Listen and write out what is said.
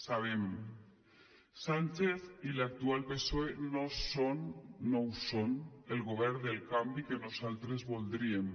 sabem que sánchez i l’actual psoe no són no ho són el govern del canvi que nosaltres voldríem